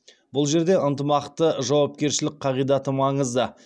бұл жерде ынтымақты жауапкершілік қағидаты маңызды